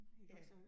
Ja